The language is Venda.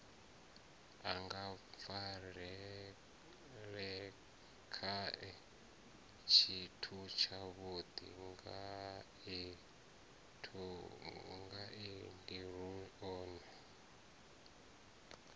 a ngafarelelakhae tshithutshavhudi ngaendiuri o